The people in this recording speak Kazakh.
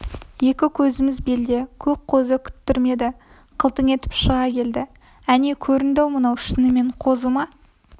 екі көзіміз белде көк қозы күттірмеді қылтың етіп шыға келді әне көрінді мынау шынымен қозы ма